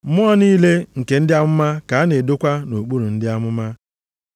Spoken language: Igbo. Mmụọ niile nke ndị amụma ka a na-edokwa nʼokpuru ndị amụma.